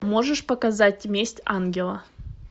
можешь показать месть ангела